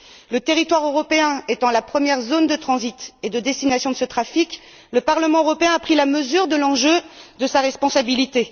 Le territoire européen étant la première zone de transit et de destination de ce trafic, le Parlement européen a pris la mesure de l'enjeu et de sa responsabilité.